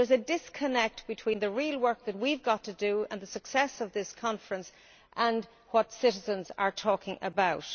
So there is a disconnect between the real work that we have got to do and the success of this conference, and what citizens are talking about.